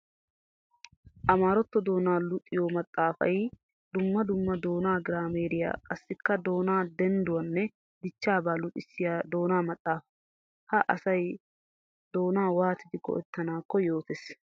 Amaarato doona luxiyo maxafay dumma dumma doona giraameriya qassikka doona dendduwanne dichchabaa luxissiya doona maxafa. Ha asay doona waatidi go'ettanakko yootes.